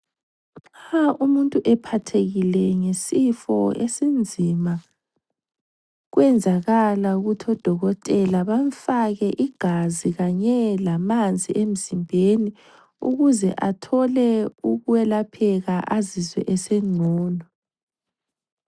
Nxa umuntu ephathekile ngesifo esinzima kuyenzakala ukuthi odokotela bamfake igazi kanye lamanzi emzimbeni ukuze athole ukwelapheka azizwe esengcono.